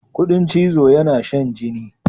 Ƙudin chizo yana shan jini.